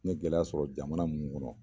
N ye gɛlɛya sɔrɔ jamana mun kɔnɔ